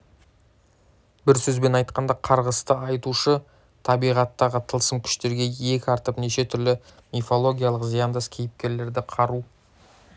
бір сөзбен айтқанда қарғысты айтушы табиғаттағы тылсым күштерге иек артып неше түрлі мифологиялық зияндас кейіпкерлерді қару